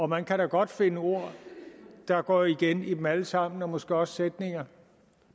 man kan da godt finde ord der går igen i dem alle sammen og måske også sætninger